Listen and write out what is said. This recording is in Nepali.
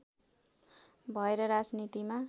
भएर राजनीतिमा